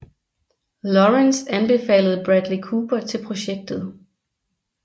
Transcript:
Lawrence anbefalede Bradley Cooper til projektet